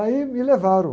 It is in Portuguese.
Aí me levaram.